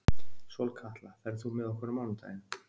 Sólkatla, ferð þú með okkur á mánudaginn?